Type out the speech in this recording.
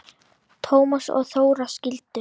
Tómas og Þóra skildu.